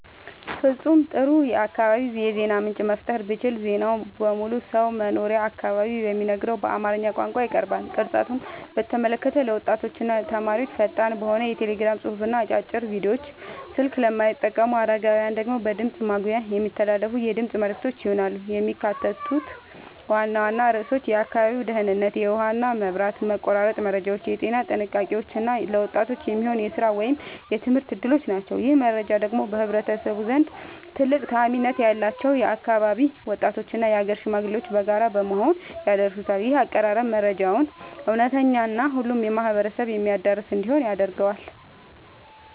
ፍጹም ጥሩ የአካባቢ የዜና ምንጭ መፍጠር ብችል ዜናው በሁሉም ሰው መኖሪያ አካባቢ በሚነገረው በአማርኛ ቋንቋ ይቀርባል። ቅርጸቱን በተመለከተ ለወጣቶችና ተማሪዎች ፈጣን በሆነ የቴሌግራም ጽሑፍና አጫጭር ቪዲዮዎች፣ ስልክ ለማይጠቀሙ አረጋውያን ደግሞ በድምፅ ማጉያ የሚተላለፉ የድምፅ መልዕክቶች ይሆናሉ። የሚካተቱት ዋና ዋና ርዕሶች የአካባቢው ደህንነት፣ የውሃና መብራት መቆራረጥ መረጃዎች፣ የጤና ጥንቃቄዎች እና ለወጣቶች የሚሆኑ የሥራ ወይም የትምህርት ዕድሎች ናቸው። ይህንን መረጃ ደግሞ በህዝቡ ዘንድ ትልቅ ተአማኒነት ያላቸው የአካባቢው ወጣቶችና የአገር ሽማግሌዎች በጋራ በመሆን ያደርሱታል። ይህ አቀራረብ መረጃው እውነተኛና ሁሉንም ማህበረሰብ የሚያዳርስ እንዲሆን ያደርገዋል።